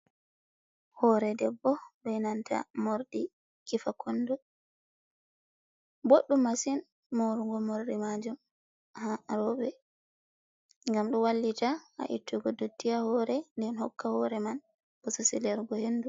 Hore debbo be nanta mordi kifa kondu, boddum masin marugo mordi majum ha robe, gam du wallita ha ittugo duttiya hore den hokka hore man, bosego hendu.